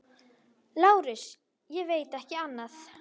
LÁRUS: Ég veit ekki annað.